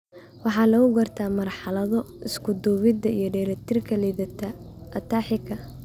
Waxaa lagu gartaa marxalado isuduwidda iyo dheellitirka liidata (ataxika).